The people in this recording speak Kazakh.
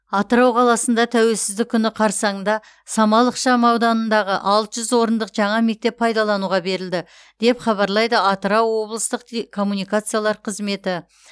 атырау қаласында тәуелсіздік күні қарсаңында самал ықшамауданындағы алты жүз орындық жаңа мектеп пайдалануға берілді деп хабарлайды атырау облыстық коммуникациялар қызметі